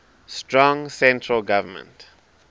strong central government